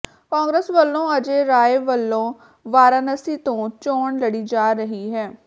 ਕਾਂਗਰਸ ਵਲੋਂ ਅਜੈ ਰਾਇ ਵਲੋਂ ਵਾਰਾਨਸੀ ਤੋਂ ਚੋਣ ਲੜੀ ਜਾ ਰਹੀ ਹੈ